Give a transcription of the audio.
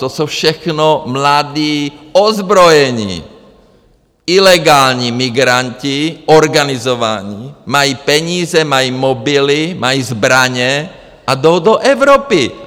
To jsou všechno mladí, ozbrojení, ilegální migranti, organizovaní, mají peníze, mají mobily, mají zbraně a jdou do Evropy.